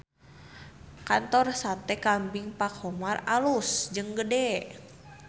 Kantor Sate Kambing Pak Khomar alus jeung gede